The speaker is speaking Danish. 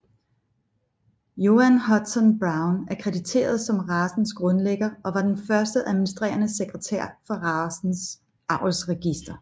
Joan Hudson Brown er krediteret som racens grundlægger og var den første administrerende sekretær for racens avlsregister